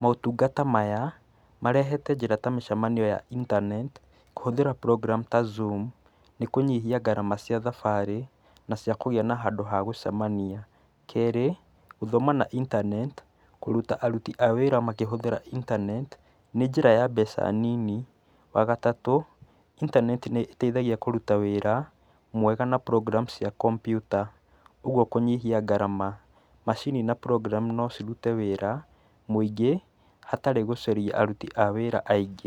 Motungata maya, marehete njĩra ta mĩcemanio ya internet , kũhũthĩra program ta zoom ,nĩkũnyihia garama cia thabarĩ, na cia kũgĩa na handũ ha gũcemania. Kerĩ, gũthoma na intaneti, kũruta aruti a wĩra makĩhũthĩra internet , nĩ njĩra ya mbeca nini, Wagatatũ, intaneti nĩteithagia kũruta wĩra, mwega na program cia computa, ũguo kũnyihia garama. Macini na program nocirute wĩra mũingĩ hatarĩ gũcaria aruti a wĩra aingĩ.